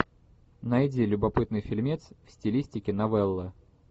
найди любопытный фильмец в стилистике новеллы